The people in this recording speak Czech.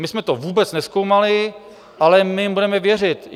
My jsme to vůbec nezkoumali, ale my jim budeme věřit.